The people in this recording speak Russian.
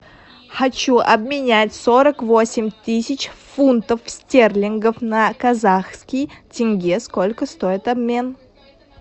хочу обменять сорок восемь тысяч фунтов стерлингов на казахский тенге сколько стоит обмен